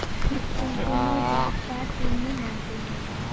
কোনো জাত পাত তিনি মানতেন না